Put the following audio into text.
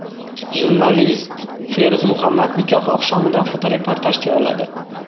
Jurnalist Feruz Muhammad nikoh oqshomidan fotoreportaj tayyorladi.